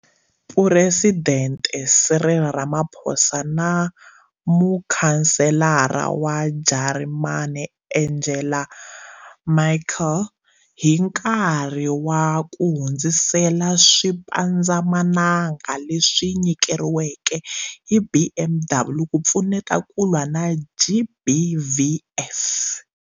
Phuresidente Cyril Ramaphosa na Muchanselara wa Jarimani Angela Merkel hi nkarhi wa ku hundzisela swipandzamananga leswi nyikeriweke hi BMW ku pfuneta ku lwa na GBVF.